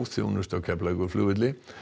þjónustu á Keflavíkurflugvelli